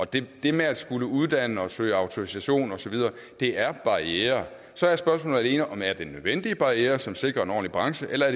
det det med at skulle uddanne og søge autorisation og så videre er barrierer så er spørgsmålet alene om det er nødvendige barrierer som sikrer en ordentlig branche eller